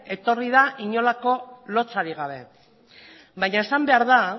etorri da inolako lotsarik gabe baina esan behar da